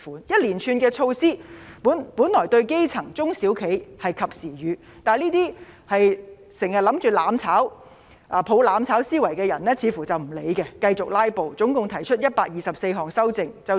一連串的措施本來對基層、中小企是及時雨，但這些經常企圖"攬炒"和抱着"攬炒"思維的人似乎不理會，繼續"拉布"，總共提出124項修正案。